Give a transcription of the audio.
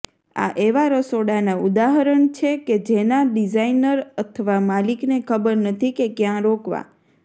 આ એવા રસોડાના ઉદાહરણ છે કે જેના ડિઝાઇનર અથવા માલિકને ખબર નથી કે ક્યાં રોકવા